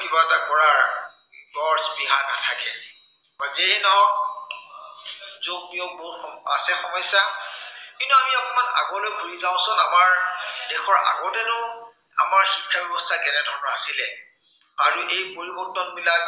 বা যেয়েই নহওক যোগ বিয়োগ বহুত আছে সমস্য়া। কিন্তু আমি অকনমান আগলৈ ঘূৰি যাঁওচোন। আমাৰ দেশত আগতেনো আমাৰ শিক্ষা ব্য়ৱস্থা কেনে ধৰনৰ আছিলে। বা এই পৰিৱৰ্তনবিলাক